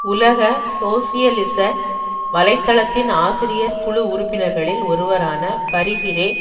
உலக சோசியலிச வலை தளத்தின் ஆசிரியர் குழு உறுப்பினர்களில் ஒருவரான பரி கிரே